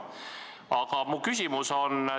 Aga mu küsimus on selline.